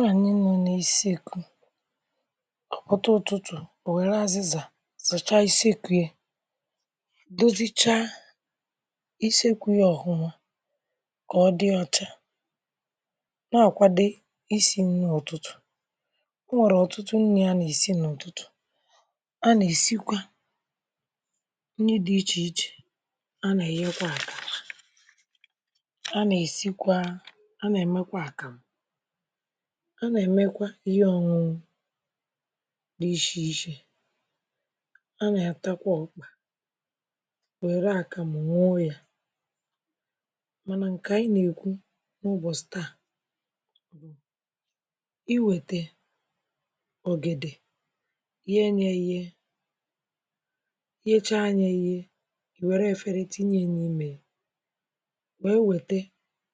Nhanyè nọ̀ n’isekwù a pụtà ụtụtụ̀ e werè azịzà zachà isekwù yà dozìcha isekwù yà ọfụ̀mà kà ọ dị̀ ọchà na-akwadè isì nnì ụtụtụ̀ o nwerè ọtụtụ̀ nnì a na-esì n’ụtụtụ̀ a na-esikwà nnì dị̀ iche ichè a na-eghekwà akàrà a na-esìkwaa a na-emèkwà akamụ̀ a na-emèkwà ihe ọn̄ụ̀n̄ụ̀ dị̀ iche ichè a na-atàkwà werè akàmụ̀ n̄ụwà yà mànà nkè anyị̀ anyị̀ na-ekwù n’ụbọchị̀ taa iwetè ọgèdè ghè nyà eghè ghechà nyà eghè i werè eferè tinyè yà n’imè yà m̄gbè ewetè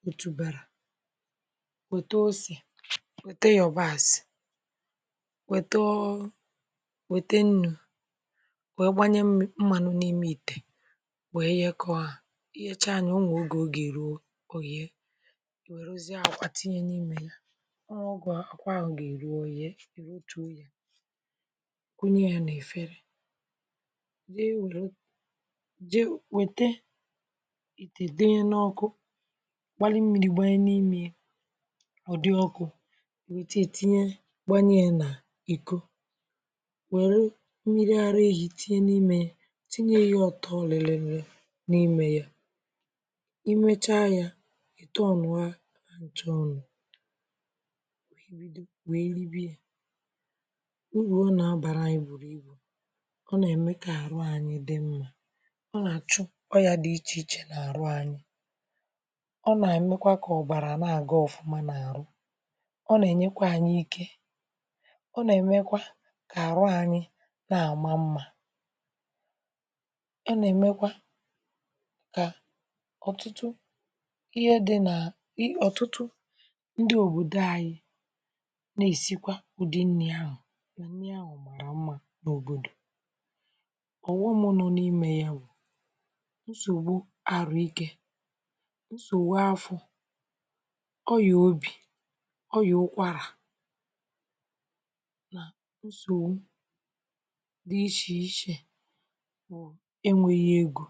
otùbàrà wetè osè wetè yọ̀bàsị̀ wete ọ ọ wetè unù wee gbanyè um. Mmanụ̀ n’imè ìte wee ghekọ̀ hà i ghechà nyà, o nwè oge ọ ga-eruò o ghè ghe akwà tinyè n’imè yà n’ogè akwà ga-eruò, o ghe kwunyè hà n’efèrè na-ewenù jee wetè didè n’ọkụ̀ gbalụ̀ mmiri gbanyè n’imè yà ọ dị̀ ọkụ̀ wutè itinyè gbanyè yà n’ìko welù mmiri arà ehì tinyè n’imè yà tinyè yà ọtọ̀bịrị̀bịrị̀ n’imè yà i mechà yà tọnụ̀ à chọnụ̀ wee ribè yà urù ọ na-abàrà anyị̀ bụ̀ ọ na-emè kà arụ̀ anyị̀ dị̀ mmà ọ na-achụ̀ ọyà dị̀ iche ichè n’arụ̀ anyị̀ ọ na-emekwà kà ọbàrà na-agà ọfụ̀mà n’arụ̀ ọ na-enyèkwà anyị̀ ike ọ na-emekwà kà arụ̀ anyị̀ nà amà mmà a na-emekwà kà ọtụtụ ihe dị̀ nà i ọtụtụ ndị̀ òbodò anyị̀ na-esikwà ụdị̀ nnì ahụ̀ nà mmà n’òbodò ọghọm nọ̀ n’imè yà bụ̀ nsogbù arụ̀ ike nsogbù afọ̀ ọyà obì ọyà ụkwarà n’onwè dị̀ iche ichè e nweghì egō